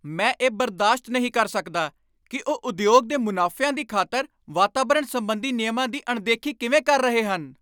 ਮੈਂ ਇਹ ਬਰਦਾਸ਼ਤ ਨਹੀਂ ਕਰ ਸਕਦਾ ਕਿ ਉਹ ਉਦਯੋਗ ਦੇ ਮੁਨਾਫ਼ਿਆਂ ਦੀ ਖ਼ਾਤਰ ਵਾਤਾਵਰਣ ਸੰਬੰਧੀ ਨਿਯਮਾਂ ਦੀ ਅਣਦੇਖੀ ਕਿਵੇਂ ਕਰ ਰਹੇ ਹਨ।